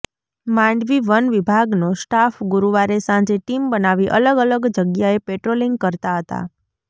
માંડવી વનવિભાગનો સ્ટાફ ગુરુવારે સાંજે ટીમ બનાવી અલગ અલગ જગ્યાએ પેટ્રોલિંગ કરતા હતા